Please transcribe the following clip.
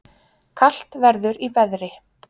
Kalt verður í veðri